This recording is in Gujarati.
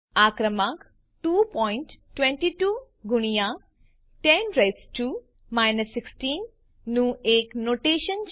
આ ક્રમાંક 222 ગુણ્યા 10 નું એક નોટેશન છે